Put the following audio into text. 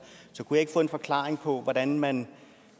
kunne jeg ikke få en forklaring på hvordan man